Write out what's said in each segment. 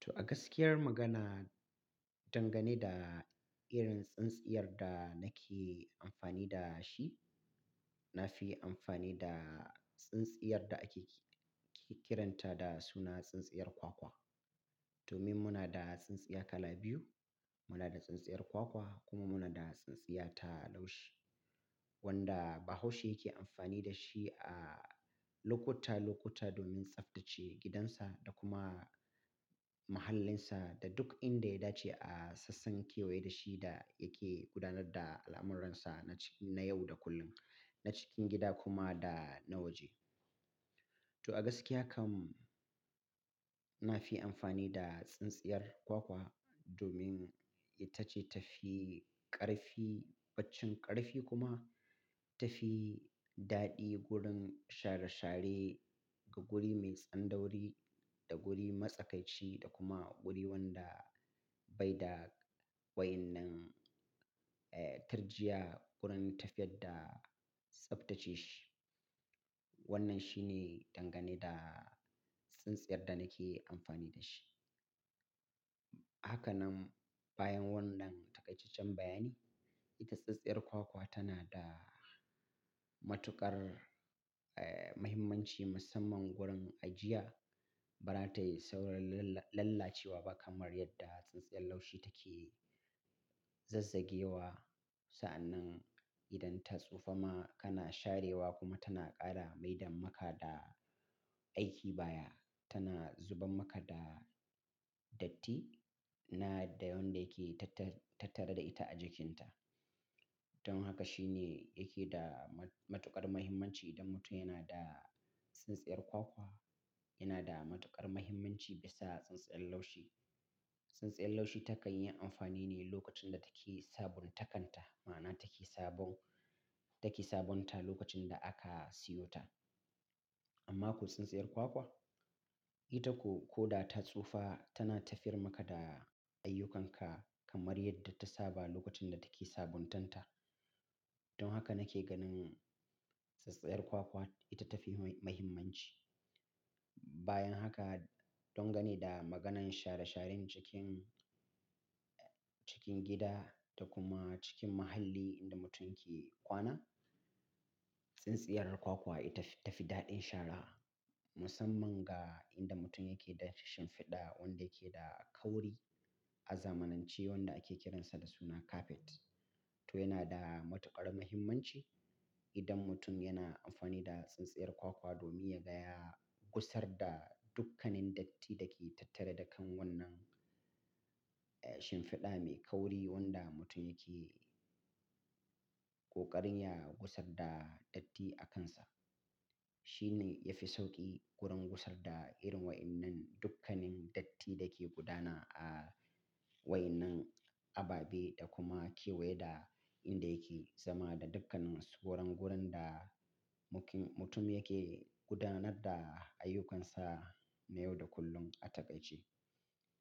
To a gaskiyar magana, dangane da irin tsintsiyar da nake amfani da shi, na fi amfani da tsintsiyar da ake kiranta da suna tsintsiyar kwakwa. Domin muna da tsintsiya kala biyu, muna da tsintsiyar kwakwa kuma muna da tsintsiya ta laushi wanda bahaushe yake amfani da shi a lokota, lokuta domin tsaftace gidansa da kuma mahallinsa da duk inda ya dace a sassan kewaye da shi da yake gudanar da al'amuransa na ci-- na yau da kullum, na cikin gida kuma da na waje. To a gaskiya kam na fi amfani da tsintsiyar kwakwa domin ita ce ta fi ƙarfi, baccin ƙarfi kuma ta fi daɗi wurin share-share ga guri mai tsandauri da guri matsakaici da kuma guri wanda bai da wa'innan, eh, tarjiya wurin tafiyar da tsaftace shi. Wannan shi ne dangane da tsintsiyar da nake amfani da shi. Haka nan bayan wannan taƙaicecen bayani, ita tsintsiyar kwakwa tana da matuƙar, eh, mahimmanci musamman wurin ajiya. Ba za ta yi saurin lalla-lallacewa ba kamar yadda tsintsiyar laushi take zazzagewa. Sa'annan idan ta tsufa ma kana sharewa kuma tana ƙara maidan maka da aiki baya. Tana zubar maka da datti na da yanda yake tattara da ita a jikinta. Don haka shine yake da ma-matuƙar mahimmanci idan mutum yana da tsintsiyar kwakwa. Yana da matuƙar mahimmanci bisa tsintsiyar laushi. Tsintsiyar laushi ta kan yi amfani ne lokacin da take sabuntakan ta, ma'ana take sabon-- take sabunta lokacin da aka siyo ta. Amma ko tsintsiyar kwakwa, ita ko, ko da ta tsufa tana tafiyar maka da ayyukanka kamar yadda ta saba lokacin da take sabuntan ta. Don haka nake ganin tsintsiyar kwakwa ita ta fi mahimmanci. Bayan haka, dangane da maganan share-sharen cikin, cikin gida da kuma cikin muhalli inda mutum yake kwana, tsintsiyar kwakwa ita ta fi daɗin shara musamman ga inda mutum yake da shinfiɗa wanda yake da kauri. A zamanance wanda ake kiransa da suna kafet. To yana da matuƙar mahimmanci idan mutum yana amfani da tsintsiyar kwakwa domin ya gaya gusar da dukkanin datti da ke tattare da kan wannan, eh, shinfiɗa mai kauri wanda mutum yake ƙoƙarin ya gusar da datti a kansa. Shi ne ya fi sauƙi gurin gusar da irin wa'innan dukkanin datti da ke gudana a wa'innan ababe da kuma kewaye da inda yake zama da dukkanin wurin gurin da muƙin-- mutum yake gudanar da ayyukansa na yau da kullum a taƙaice.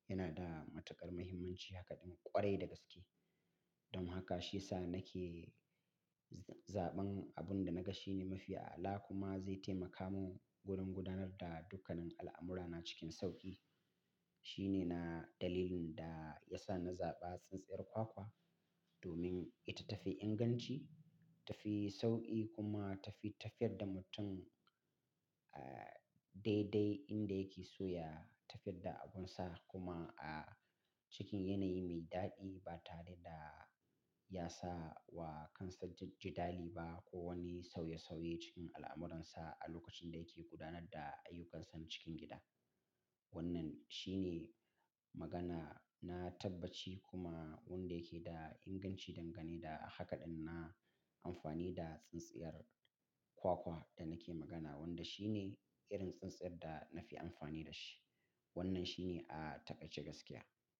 Yana da matuƙar mahimmanci haka ɗin ƙwarai da gaske. Don haka shi ya sa nake zaɓan abun da na ga shi ne mafi ala kuma zai taimaka mun gurin gudanar da dukkanin al'amurana cikin sauƙi. Shi ne na dalilin da ya sa na zaɓa tsintsiyar kwakwa domin ita ta fi inganci, ta fi sauƙi kuma ta fi tafiyar da mutum, eh, daidai inda yake so ya tafiyar da abunsa kuma a cikin yanayi mai daɗi ba tare da ya sa wa kansa jidali ba ko wani sauye-sauye cikin al'amuransa a lokacin da yake gudanar da ayyukansa cikin gida. Wannan shi ne magana na tabbaci kuma wanda yake da inganci dangane da hakaɗin na amfani da tsintsiyar kwakwa da nake magana wanda shi ne irin tsintsiyar da na fi amfani da shi. Wannan shi ne a taƙaice gaskiya.